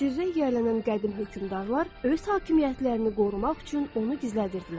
Sirrə yiyələnən qədim hökmdarlar öz hakimiyyətlərini qorumaq üçün onu gizlədirdilər.